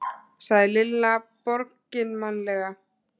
sagði Lilla borginmannlega.